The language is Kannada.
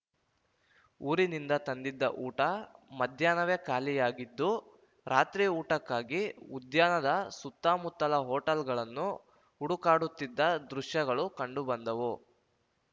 ಊರಿನಿಂದ ತಂದಿದ್ದ ಊಟ ಮಧ್ಯಾಹ್ನವೇ ಖಾಲಿಯಾಗಿದ್ದು ರಾತ್ರಿ ಊಟಕ್ಕಾಗಿ ಉದ್ಯಾನದ ಸುತ್ತಮುತ್ತಲ ಹೋಟೆಲ್‌ಗಳನ್ನು ಹುಡುಕಾಡುತ್ತಿದ್ದ ದೃಶ್ಯಗಳು ಕಂಡು ಬಂದವು